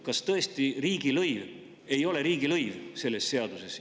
Kas tõesti riigilõiv ei ole riigilõiv selles seaduses?